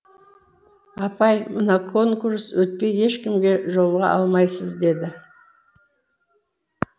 апай мына конкурс өтпей ешкімге жолыға алмайсыз деді